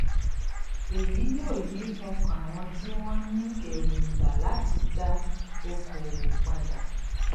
èyí yóò yí ọkàn àwọn tí wọn ní ẹróngbà láti dá okoòwò padà